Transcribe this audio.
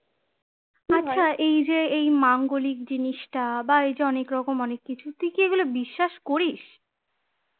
এই যে এই মাঙ্গলিক জিনিসটা বা অনেক রকম অনেক কিছু তুই কি এগুলো বিশ্বাস করিস?